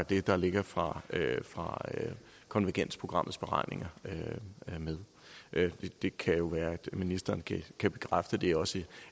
det der ligger fra fra konvergensprogrammets beregninger med det kan jo være at ministeren kan bekræfte det også